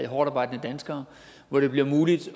hårdtarbejdende danskere hvor det bliver muligt